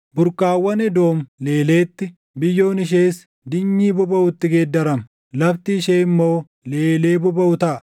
Burqaawwan Edoom leeleetti, biyyoon ishees dinyii bobaʼutti geeddarama; lafti ishee immoo leelee bobaʼu taʼa!